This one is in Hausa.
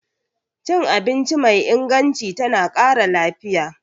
Cin abinci mai inganci tana ƙara lafiya.